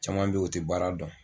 Caman bɛ yen o tɛ baara dɔn